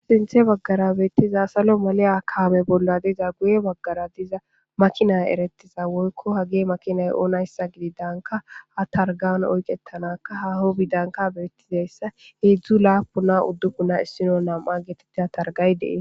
sinthe baggara beettiza salo maleya kaame bolla diza guye baggara diza makinay erettiza woykko hage makinay oonayssa gidi danka ha targan oyqetanaka haho bidanka beettizayssa heedzdzu laapunna uddubuna issino nam7a geetettida targay dee